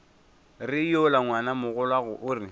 re yola ngwanamogolwago o re